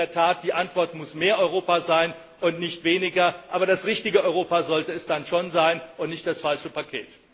Denn in der Tat muss die Antwort mehr Europa sein und nicht weniger Europa. Aber das richtige Europa sollte es dann schon sein und nicht das falsche Paket.